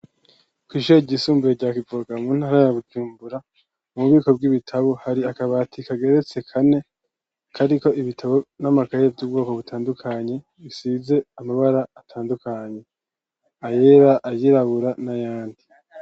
Kw'ishure ryisumbuye rya Kivoga mu ntara ya Bujumbura, mu bubiko bw'ibitabo, hari akabati kageretse kane, kariko ibitabo n'amakaye vy'ubwoko butandukanye, bisize amabara atandukanye, ayera, ayirabura n'ayandi.